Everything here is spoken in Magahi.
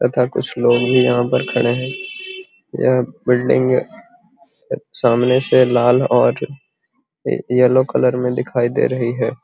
तथा कुछ लोग भी यहाँ पर खड़े हैं | यह बिल्डिंग सामने से लाल और अ येलो कलर में दिखाई दे रही है।